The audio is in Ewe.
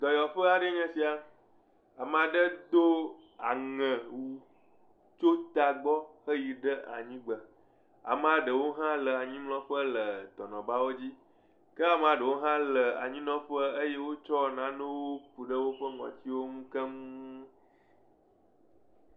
Dɔyɔƒe aɖe nye esia ame aɖe do aŋewu tso tagbɔ heyi ɖe anyigbe ame aɖewo ha le anyimlɔƒe le dɔnɔbawo dzi ke ame aɖewo ha nɔ anyinɔƒe eye wotsɔ nanewo ku ɖe woƒe ŋɔtiwo nu keŋ